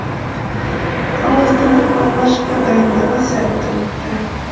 ал астананың алғашқы дайындығы сәтті өтті